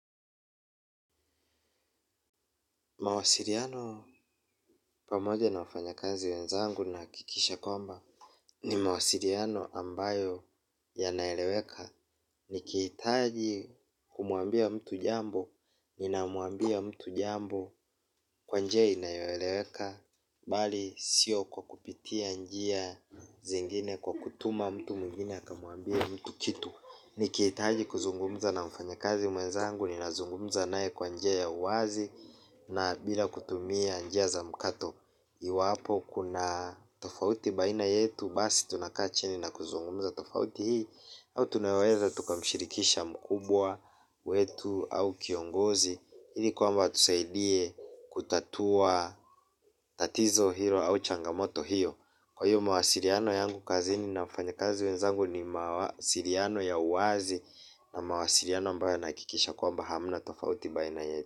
Mawasiliano pamoja na wafanyikazi wenzangu nahakikisha kwamba ni mawasiliano ambayo yanaeleweka nikihitaji kumuambia mtu jambo, nina muambia mtu jambo kwa njia inayoeleweka, bali sio kwa kupitia njia zingine kwa kutuma mtu mwigine akamwambie mtu kitu. Ni kihitaji kuzungumza na mfanyakazi mwenzangu nina zungumza naye kwa njia ya uwazi na bila kutumia njia za mkato. Iwapo kuna tofauti baina yetu basi tunakaa chini na kuzungumza tofauti hii. Au tunaweza tuka mshirikisha mkubwa wetu au kiongozi ili kwamba atusaidie kutatua tatizo hilo au changamoto hiyo. Kwa hiyo mawasiliano yangu kazini na wafanyakazi wenzangu ni mawasiliano ya uwazi na mawasiliano ambayo nahakikisha kwamba hamna tofauti baina yetu.